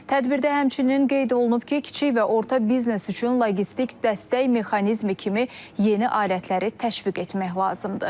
Tədbirdə həmçinin qeyd olunub ki, kiçik və orta biznes üçün logistik dəstək mexanizmi kimi yeni alətləri təşviq etmək lazımdır.